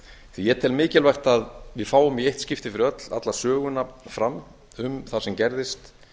því ég tel mikilvægt að við fáum í eitt skipti fyrir öll alla söguna fram um það sem gerðist